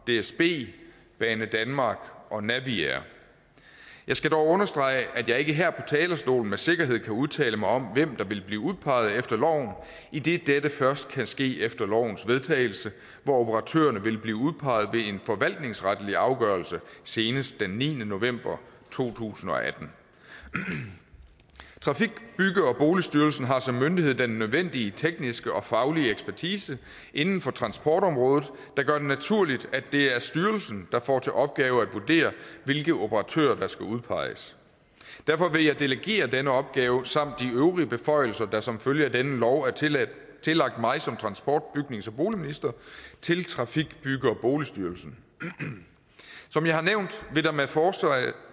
dsb banedanmark og naviair jeg skal dog understrege at jeg ikke her på talerstolen med sikkerhed kan udtale mig om hvem der vil blive udpeget efter loven idet dette først kan ske efter lovens vedtagelse hvor operatørerne vil blive udpeget ved en forvaltningsretlig afgørelse senest den niende november to tusind og atten trafik bygge og boligstyrelsen har som myndighed den nødvendige tekniske og faglige ekspertise inden for transportområdet der gør det naturligt at det er styrelsen der får til opgave at vurdere hvilke operatører der skal udpeges derfor vil jeg delegere denne opgave samt de øvrige beføjelser der som følge af denne lov er tillagt tillagt mig som transport bygnings og boligminister til trafik bygge og boligstyrelsen som jeg har nævnt